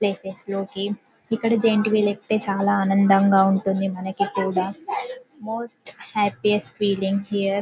Place లోకి ఇక్కడ giant wheel ఎక్కితే చాలా ఆనందంగా ఉంటుంది మనకి కూడా మోస్ట్ హ్యాప్పీస్ట్ ఫీలింగ్ హియర్ .